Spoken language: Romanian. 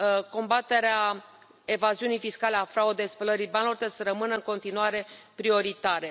Combaterea evaziunii fiscale, a fraudei, spălării banilor trebuie să rămână în continuare prioritare.